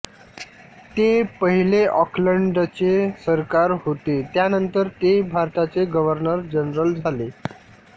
ते पहिले ऑकलंडचे सरदार होते त्यानंतर ते भारताचे गव्हर्नर जनरल झाले